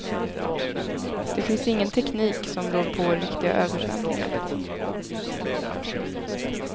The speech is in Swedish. Det finns ingen teknik som rår på riktiga översvämningar.